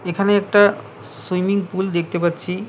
এখানে একটা swimming pool দেখতে পাচ্ছি।